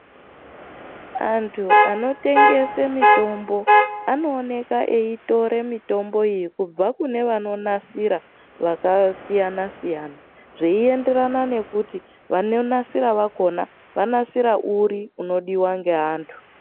Antu anotengese mitombo, anooneka eitore mitomboyo kubva kune vanonasira vakasiyana-siyana, zveienderana nekuti, vanonasira vakhona, vanasira uri, unodiwa ngeantu.